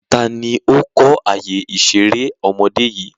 Taàní ó kọ́ àyè ìṣeré ọmọdé yìí?